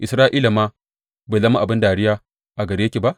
Isra’ila ma bai zama abin dariya a gare ki ba?